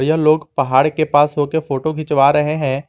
यह लोग पहाड़ के पास हो के फोटो खिंचवा रहे हैं।